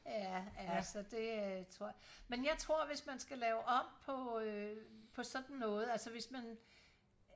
ja ja så det tror men jeg tror hvis man skal lave om på øh på sådan noget altså hvis man